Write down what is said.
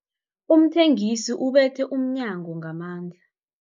Umthengisi ubethe umnyango ngamandla.